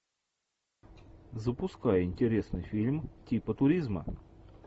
запускай интересный фильм типа туризма